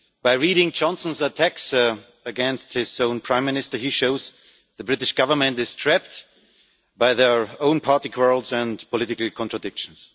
On reading Johnson's attacks against his own prime minister, he shows that the British Government is trapped by their own party quarrels and political contradictions.